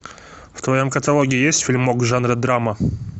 в твоем каталоге есть фильмок жанра драма